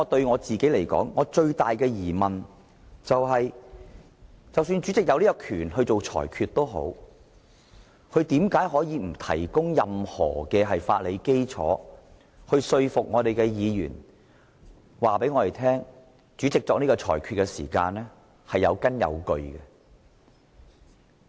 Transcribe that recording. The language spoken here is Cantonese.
我最大的疑問是，即使主席有權作出裁決，但為何他沒有提供任何法理基礎，說服議員作出有關裁決是有根有據的。